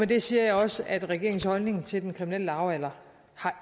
det siger jeg også at regeringens holdning til den kriminelle lavalder